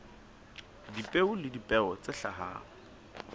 dipeo le dipeo tse hlahang